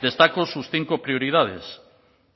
destaco sus cinco prioridades